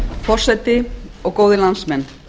forseti og góðir landsmenn